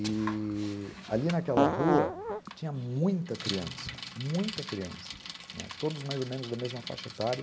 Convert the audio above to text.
E... ali naquela rua tinha muita criança, muita criança, né, todos mais ou menos da mesma faixa etária.